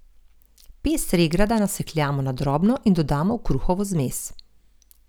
Pest regrata nasekljamo na drobno in dodamo v kruhovo zmes.